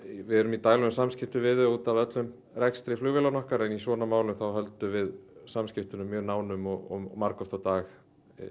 við erum í daglegum samskiptum við þau út af öllum rekstri flugvélanna okkar en í svona málum höldum við samskiptunum mjög nánum og margoft á dag